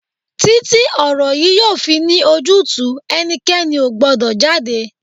Títí ti ọ̀rọ̀ yìí yóò fi ní ojútùú, ẹnikẹ́ni ò gbọ́dọ̀ jáde!